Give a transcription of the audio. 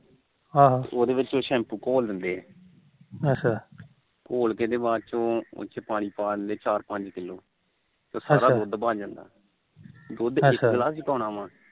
ਉਹਦੇ ਵਿੱਚ ਸ਼ੈਂਪੂ ਘੋਲ ਦਿੰਦੇ ਆਹੋ ਘੋਲ ਕੇ ਤੇ ਬਾਅਦ ਚੋ ਪਾਣੀ ਪਾ ਦਿੰਦੇ ਚਾਰ ਪੰਜ ਕਿਲੋ ਗਾੜਾ ਦੁਧ ਬਣ ਜਾਂਦਾ ਆ ਦੁਧ ਇੱਕ ਗਿਲਾਸ ਹੀ ਪਾਉਣਾ ਆ